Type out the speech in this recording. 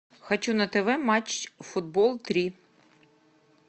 хочу на тв матч футбол три